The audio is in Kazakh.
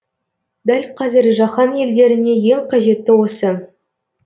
дәл қазір жаһан елдеріне ең қажеті осы